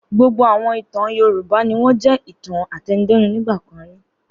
Gbogbo àwọn ìtàn Yorùbá ni wọ́n jẹ́ ìtàn àtẹnudẹ́nu nígbà kan rí.